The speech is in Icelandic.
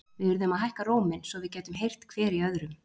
Við urðum að hækka róminn, svo við gætum heyrt hver í öðrum.